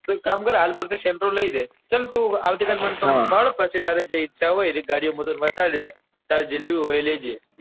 તું એક કામ કર હાલ પુરતી sentro લઇ લે તું આવતી કાલે મને મળ પછી જે તને ઈચ્છા હોય એ ગાડીઓ હું તને બતાદીસ તારે જે લેવી હોય એ લેજે,